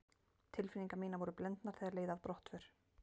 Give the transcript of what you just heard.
Tilfinningar mínar voru blendnar þegar leið að brottför.